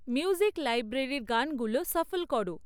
music লাইব্রেরির গানগুলো shuffle করো